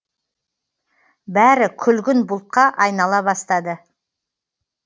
бәрі күлгін бұлтқа айнала бастады